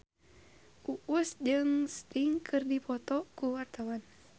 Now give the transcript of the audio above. Uus jeung Sting keur dipoto ku wartawan